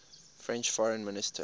french foreign minister